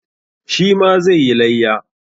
Shi ma zai yi layya.